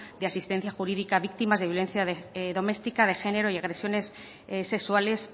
de asistencia jurídica a víctimas de violencia doméstica de género y agresiones sexuales